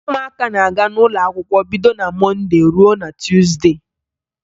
Ụmụaka na-aga n'ụlọakwụkwọ bido na Mọnde ruo na Tuuzde